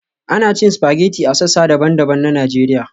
Ana cin spaghetti a sassa daban-daban na Najeriya